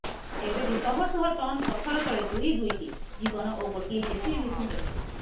ଏବେବି ଶହଶହ ଟନ୍ ପଥର ତଳେ ଦୁଇଦୁଇଟି ଜୀବନ ଓ ଗୋଟିଏ ଜେସିବି ମେସିନ୍ ରହିଛି